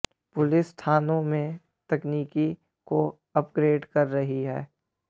police थानों में तकनीक को अपगे्रड कर रही है